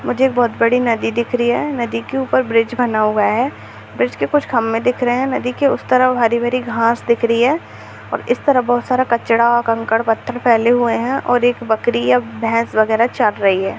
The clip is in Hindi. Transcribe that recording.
मुझे बहुत बड़ी नदी दिख रही है नदी के ऊपर ब्रिज बना हुआ है ब्रिज के कुछ खंभे दिख रहे है नदी के उस तरफ हरी-भरी घास दिख रही है और इस तरफ बहुत सारा कचरा कंकड़ पत्थर फैले हुए है और एक बकरी या भैंस वगैरह चर रही है।